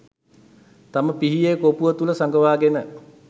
තම පිහියේ කොපුව තුළ සඟවාගෙන